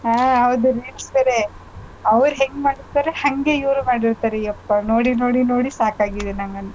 ಹಾ ಹೌದು reels ಬೇರೆ ಅವ್ರ್ ಹೆಂಗ್ ಮಾಡ್ತಾರೆ ಹಂಗೆ ಇವ್ರು ಮಾಡಿರ್ತಾರೆ ಯಪ್ಪಾ ನೋಡಿ ನೋಡಿ ನೋಡಿ ಸಾಕಾಗಿದೆ ನಂಗಂತು.